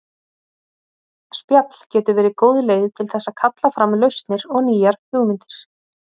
Spjall getur verið góð leið til þess að kalla fram lausnir og nýjar hugmyndir.